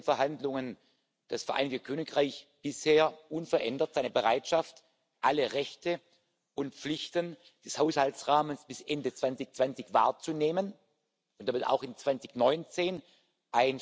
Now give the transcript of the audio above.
Wochen kommt. Wir werden Ihnen im Oktober einen Änderungsvorschlag vorlegen, und ich bin Ihnen dafür dankbar, dass Sie sich persönlich einbringen werden, dass Sie sich federführend für die Verhandlungen im Rat verantwortlich